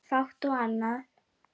Fátt annað.